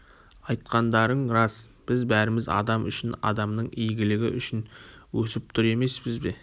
айтқандарың рас біз бәріміз адам үшін адамның игілігі үшін өсіп тұр емеспіз бе